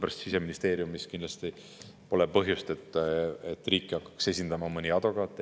Siseministeeriumil pole põhjust, et riiki hakkaks esindama mõni advokaat.